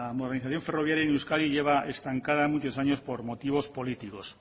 organización ferroviaria en euskadi lleva estancada muchos años por motivos políticos